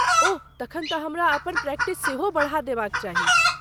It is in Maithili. ओह ,तखन तँ हमरा अपन प्रैक्टिस सेहो बढ़ा देबाक चाही।